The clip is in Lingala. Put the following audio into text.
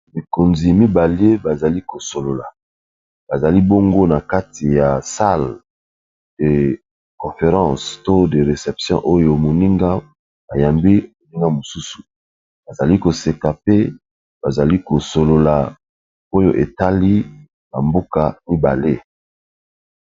mikonzi mibale bazali kosolola bazali bongo na kati ya sale de conference to de reception oyo moninga ayambi moninga mosusu bazali koseka pe bazali kosolola oyo etali ba mboka mibale